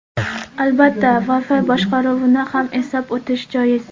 Albatta, Wi-Fi boshqaruvni ham eslab o‘tish joiz.